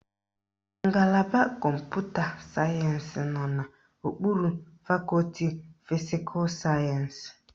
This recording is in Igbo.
Ngalaba Kọmputa sayensị nọ n'okpuru fakọti fisikal sayensị